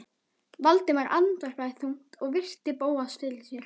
Valdimar andvarpaði þungt og virti Bóas fyrir sér.